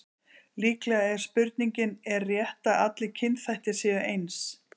Líklegt er að spurningin Er rétt að allir kynþættir séu eins?